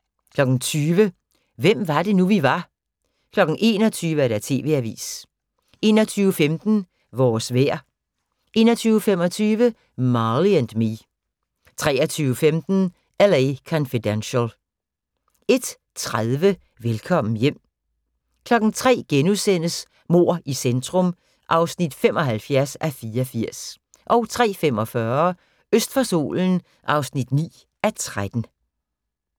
20:00: Hvem var det nu, vi var 21:00: TV-avisen 21:15: Vores vejr 21:25: Marley & Me 23:15: L.A. Confidential 01:30: Velkommen hjem 03:00: Mord i centrum (75:84)* 03:45: Øst for solen (9:13)